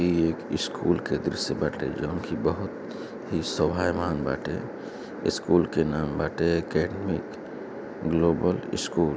ई एक स्कूल के दृश्य बाटे जवन कि बहुत ही स्वभयमान बाटे। स्कूल के नाम बाटे अकादमिक ग्लोबल स्कूल ।